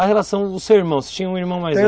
A relação, o seu irmão, você tinha um irmão mais velho?